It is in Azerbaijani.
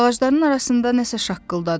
Ağacların arasında nəsə şaqqıldadı.